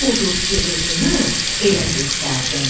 Odur ki, özümü elə göstərdim.